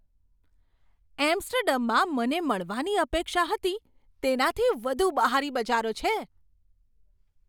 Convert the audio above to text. એમ્સ્ટર્ડમમાં મને મળવાની અપેક્ષા હતી, તેનાથી વધુ બહારી બજારો છે.